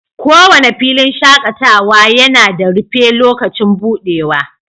kowane filin shakatawa yana da rufe lokacin buɗewa